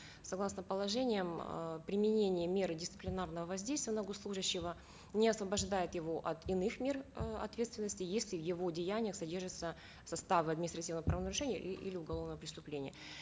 согласно положениям э применение меры дисциплинарного воздействия на госслужащего не освобождает его от иных мер э ответственности если в его деяниях содержатся составы административного правонарушения и или уголовного преступления